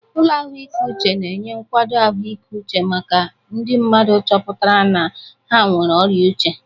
Ụlọ ahụike uche na-enye nkwado ahụike uche maka ndị mmadụ chọpụtara na ha nwere ọrịa uche.